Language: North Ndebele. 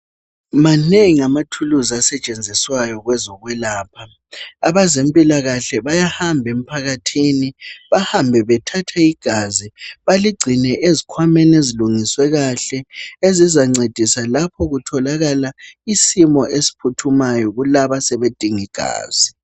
Manengi amathuluzi asetshenziswayo kwezokwelapha. Abazempilakahle bayahamba empakathini bahambe bathathe igazi baligcine ezikwameni ezilungisiweyo kahle. Ezizancedisa lapho kutholakala isimo esiphuthumayo kulabo asebedinga igazi.